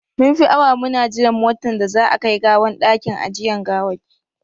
Mun fi awa muna jiran motan da za a a kai gawan dakin ajiyan gawaki.